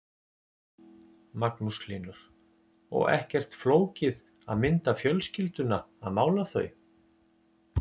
Magnús Hlynur: Og ekkert flókið að mynda fjölskylduna að mála þau?